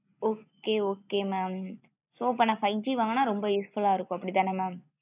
okay okay mam so அப்போ நா five G வாங்குன ரொம்ப useful ஆ இருக்கும் அப்படித்தன mam